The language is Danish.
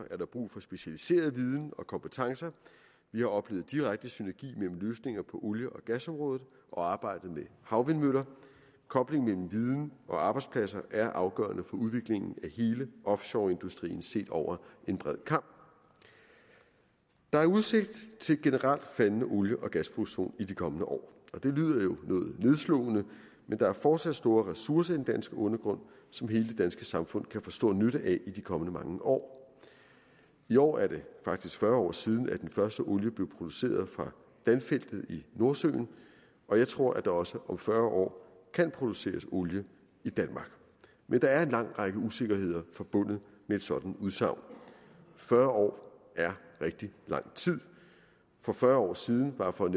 er der brug for specialiseret viden og kompetencer vi har oplevet direkte synergi mellem løsninger på olie og gasområdet og arbejdet med havvindmøller og kobling mellem viden og arbejdspladser er afgørende for udviklingen af hele offshoreindustrien set over en bred kam der er udsigt til en generelt faldende olie og gasproduktion i de kommende år og det lyder jo noget nedslående men der er fortsat store ressourcer i den danske undergrund som hele det danske samfund kan få stor nytte af i de kommende mange år i år er det faktisk fyrre år siden at den første olie blev produceret fra danfeltet i nordsøen og jeg tror at der også om fyrre år kan produceres olie i danmark men der er en lang række usikkerheder forbundet med et sådant udsagn fyrre år er rigtig lang tid for fyrre år siden bare for at